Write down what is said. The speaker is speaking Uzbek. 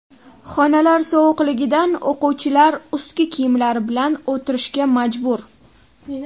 Xonalar sovuqligidan o‘quvchilar ustki kiyimlari bilan o‘tirishga majbur.